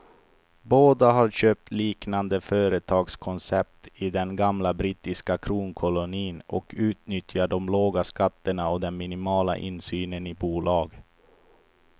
Båda har köpt liknande företagskoncept i den gamla brittiska kronkolonin och utnyttjar de låga skatterna och den minimala insynen i bolag.